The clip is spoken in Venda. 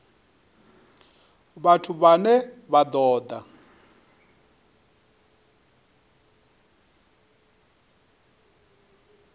vhathu vhane vha ṱo ḓa